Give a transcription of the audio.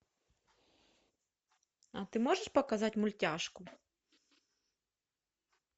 а ты можешь показать мультяшку